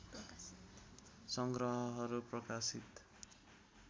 सङ्ग्रहहरू प्रकाशित